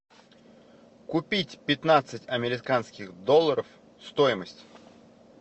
купить пятнадцать американских долларов стоимость